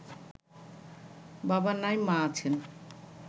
বাবা নাই মা আছেন